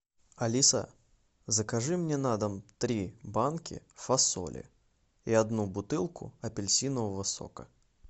алиса закажи мне на дом три банки фасоли и одну бутылку апельсинового сока